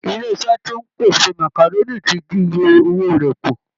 Ilé iṣẹ́ tó ń pèsè màkàrónì ti dín iye owó rẹ̀ kù